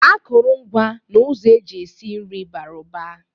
Akụrọngwa na ụzọ eji esi nri bara ụba